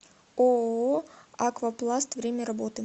ооо аквапласт время работы